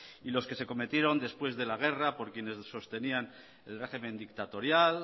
y los que se cometieron después de la guerra por quienes sostenían el régimen dictatorial